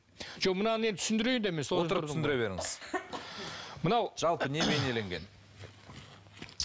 жоқ мынаны енді түсіндірейін де мен отырып түсіндіре беріңіз мынау жалпы не бейнеленген